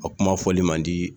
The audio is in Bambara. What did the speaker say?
A kuma fɔli man di